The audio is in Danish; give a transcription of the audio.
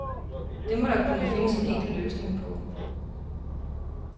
Det må der kunne findes en enkel løsning på.